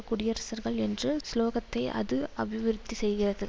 குடியரசர்கள் என்று சுலோகத்தை அது அபிவிருத்தி செய்கிறது